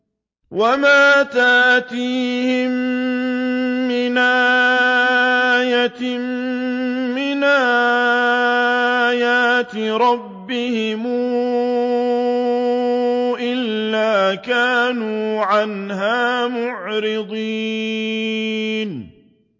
وَمَا تَأْتِيهِم مِّنْ آيَةٍ مِّنْ آيَاتِ رَبِّهِمْ إِلَّا كَانُوا عَنْهَا مُعْرِضِينَ